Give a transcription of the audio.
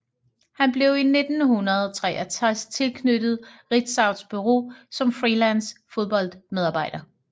Han blev i 1963 tilknyttet Ritzaus Bureau som freelance fodboldmedarbejder